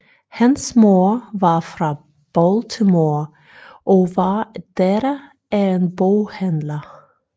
Hans mor var fra Baltimore og var datter af en boghandler